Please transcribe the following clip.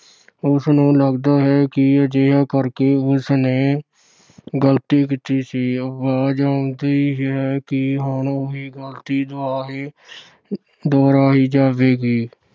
ਉਸ ਨੂੰ ਲੱਗਦਾ ਹੈ ਕਿ ਅਜਿਹਾ ਕਰਕੇ ਉਸ ਨੇ ਗਲਤੀ ਕੀਤੀ ਸੀ। ਆਵਾਜ ਆਉਂਦੀ ਹੈ ਕਿ ਹੁਣ ਉਹੀ ਗਲਤੀ ਦੁਬਾਰਾ ਦੁਹਰਾਈ ਜਾਵੇਗੀ।